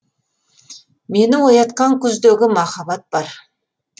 мені оятқан күздегі махаббат бар